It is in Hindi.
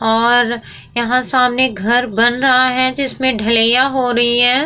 और यहाँ सामने घर बन रहा है जिसमे ढ़लाईया हो रही है।